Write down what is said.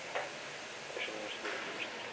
Þess vegna væri sambandið svona sterkt.